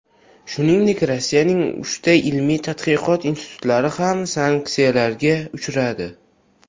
Shuningdek, Rossiyaning uchta ilmiy-tadqiqot instituti ham sanksiyalarga uchradi.